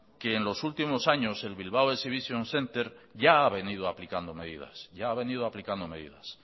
que en los últimos años el bilbao exhibition centre ya ha venido aplicando medidas